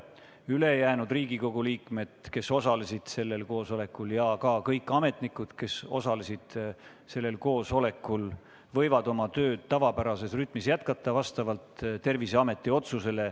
Ülejäänud Riigikogu liikmed, kes osalesid sellel koosolekul, ja ka kõik ametnikud, kes osalesid sellel koosolekul, võivad oma tööd vastavalt Terviseameti otsusele tavapärases rütmis jätkata.